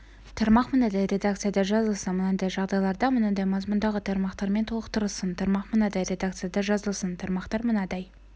тармақ мынадай редакцияда жазылсын мынадай жағдайларда мынадай мазмұндағы тармақтармен толықтырылсын тармақ мынадай редакцияда жазылсын тармақтар мынадай